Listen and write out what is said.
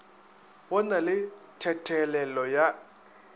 go na le thethelelo ya